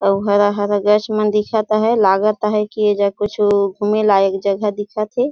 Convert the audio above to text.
अऊ हरा -हरा गाछ मन दिखत हे लागत हे की ए जग कुछू घूमे लायक जगह दिखत हे।